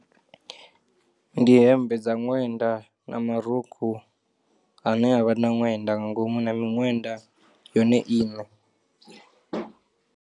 Ndi hemmbe dza ṅwenda na marukhu ane avha na ṅwenda nga ngomu na miṅwenda yone iṋe.